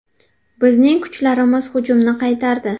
Bizning kuchlarimiz hujumni qaytardi.